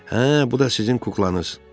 Hə, bu da sizin kuklanız.